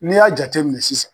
N'i y'a jateminɛ sisan.